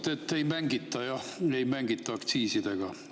No te ütlesite, et ei mängita aktsiisidega.